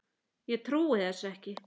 Ég trúi þessu ekki